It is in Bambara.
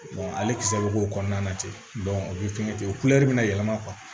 ale kisɛ bɛ k'o kɔnɔna na ten o bɛ fɛnkɛ ten o bɛna yɛlɛma kuwa